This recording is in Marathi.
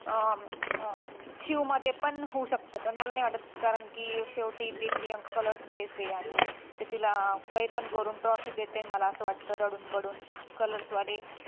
अं अं शिवमध्ये पण होऊ शकतं पण मला नाही वाटत कारण की शेवटी ते प्रियां color face आहे आणि ते तिला काहीपण करून trophy देतेन मला असं वाटतं रडून पडून colors वाले